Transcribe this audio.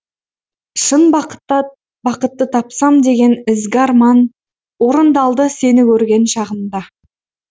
шын бақытты тапсам деген ізгі арман орындалды сені көрген шағымда